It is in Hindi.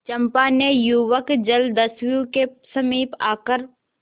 चंपा ने युवक जलदस्यु के समीप आकर